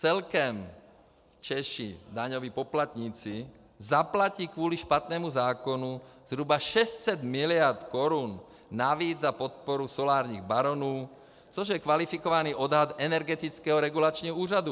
Celkem Češi - daňoví poplatníci zaplatí kvůli špatnému zákonu zhruba 600 miliard korun navíc za podporu solárních baronů, což je kvalifikovaný odhad Energetického regulačního úřadu.